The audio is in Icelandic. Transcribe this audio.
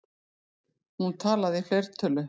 Hún talaði í fleirtölu.